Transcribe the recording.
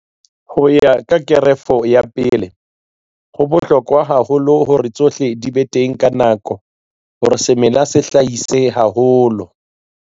Ho ya ka Kerafo ya 1 ho bohlokwa haholo hore tsohle di be teng ka nako hore semela se hlahise haholo.